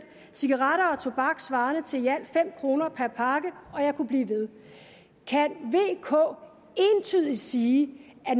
cigaretter og tobak svarende til i alt fem kroner per pakke og jeg kunne blive ved kan vk entydigt sige at